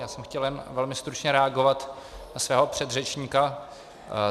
Já jsem chtěl jen velmi stručně reagovat na svého předřečníka.